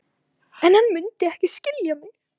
En hann mundi ekki skilja mig.